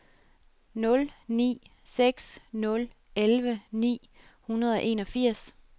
nul ni seks nul elleve ni hundrede og enogfirs